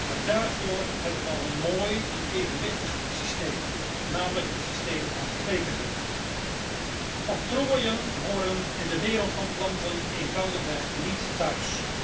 Maar daarvoor hebben we al een mooi en evenwichtig systeem, namelijk het systeem van kwekersrecht. Octrooien horen in de wereld van planten eenvoudigweg niet thuis.